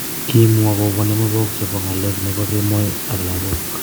Kimwa kobo ne mebok chebo ng�alek ne komoi ak lagok.